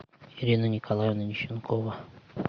ирина николаевна нищенкова